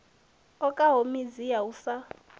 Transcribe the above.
okaho midzi ya u sa